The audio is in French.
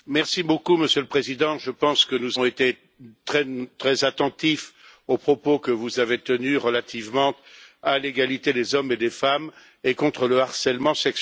Monsieur le Président, je pense que nous avons été très attentifs aux propos que vous avez tenus relativement à l'égalité des hommes et des femmes et contre le harcèlement sexuel.